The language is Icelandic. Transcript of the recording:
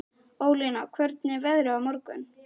Ólína, hvernig er veðrið á morgun?